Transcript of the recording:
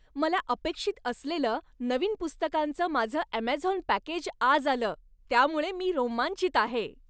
मला अपेक्षित असलेलं नवीन पुस्तकांचं माझं ॲमेझॉन पॅकेज आज आलं त्यामुळे मी रोमांचित आहे.